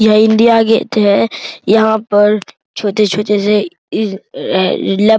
यह India Gate है यहां पर छोटे-छोटे से